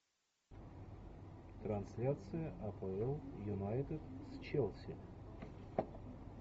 трансляция апл юнайтед с челси